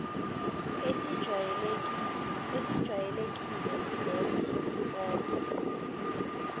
esijwayelekile ileso sokumpompa